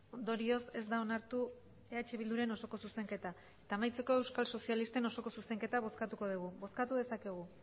ondorioz ez da onartu eh bilduren osoko zuzenketa eta amaitzeko euskal sozialisten osoko zuzenketa bozkatuko dugu bozkatu dezakegu